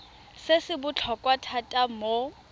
se se botlhokwa thata mo